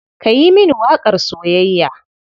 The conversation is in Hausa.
Ka yi mini waƙar soyayya.